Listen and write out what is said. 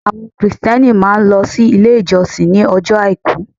Àwọn Kìrìsìtẹ́ẹ́nì máà ń lọ sí ilé ìjọsìn ní ọjọ́ Àìkú.